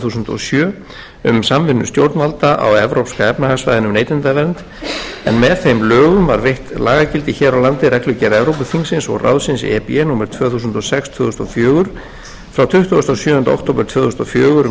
þúsund og sjö um samvinnu stjórnvalda á evrópska efnahagssvæðinu um neytendavernd en með þeim lögum var veitt lagagildi hér á landi reglugerð evrópuþingsins og ráðsins númer tvö þúsund og sex tvö þúsund og fjögur frá tuttugasta og sjöunda október tvö þúsund og fjögur um